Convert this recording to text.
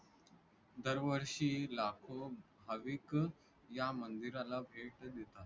दरवर्षी लाखो भाविक या मंदिराला भेट देतात.